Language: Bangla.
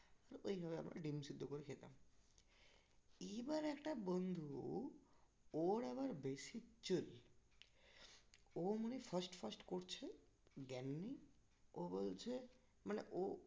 তো ওইভাবে আমরা ডিম সিদ্ধ করে খেতাম এইবার একটা বন্ধু ওর আবার বেশি চুল ও মানে first first করছে জ্ঞান নেই ও বলছে মানে ও